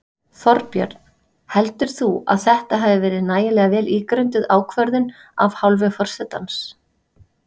Þorbjörn: Heldur þú að þetta hafi verið nægilega vel ígrunduð ákvörðun af hálfu forsetans?